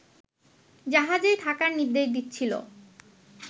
জাহাজেই থাকার নির্দেশ দিচ্ছিল